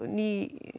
ný